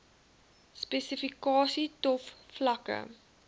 spesifikasies tov vlakke